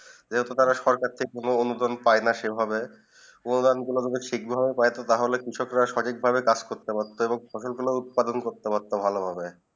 যে তারা সরকার থেকে কোনো অননুদান পায়ে না সেই ভাবে অননুদান তা একটু শিগ্রহ পেট তালে স্ক্ৰীসক রা সঠিক ভাবে কাজ করতে পারতো এবং ফসল গুলু উৎপাদন করতে পারতো সঠিক ভাবে